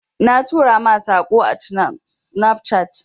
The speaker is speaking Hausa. Na tura ma Sako ã Snapchat.